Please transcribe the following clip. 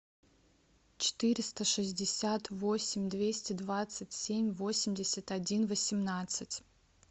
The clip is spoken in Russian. четыреста шестьдесят восемь двести двадцать семь восемьдесят один восемнадцать